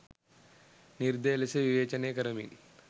නිර්දය ලෙස විවේචනය කරමින්